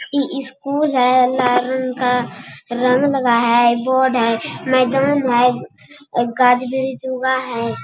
ई school है लाल रंग का रंग लगा है बोर्ड है मैदान है और गाँच ब्रिछ उगा है।